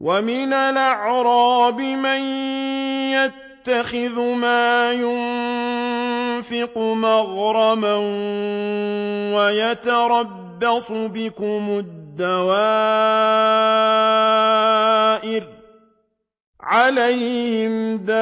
وَمِنَ الْأَعْرَابِ مَن يَتَّخِذُ مَا يُنفِقُ مَغْرَمًا وَيَتَرَبَّصُ بِكُمُ الدَّوَائِرَ ۚ عَلَيْهِمْ دَائِرَةُ